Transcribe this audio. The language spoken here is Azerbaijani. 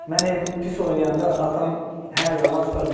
Mən ev pis oynayanda atam hər zaman stadionda idi.